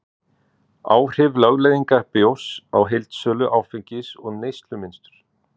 áhrif lögleiðingar bjórs á heildarsölu áfengis og neyslumynstur